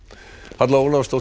Halla Ólafsdóttir